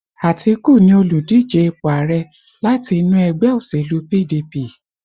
Atiku ni oludije ipò ààrẹ̀ láti inú ẹgbẹ́ òṣèlú PDP